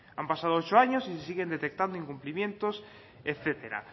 han pasado ocho años y se siguen detectando incumplimientos etcétera